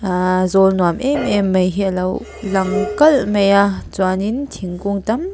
ahh zawl nuam emem mai hi alo lang kalh maia chuanin thingkung tam--